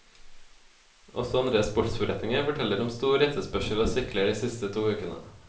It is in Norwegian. Også andre sportsforretninger forteller om stor etterspørsel av sykler de siste to ukene.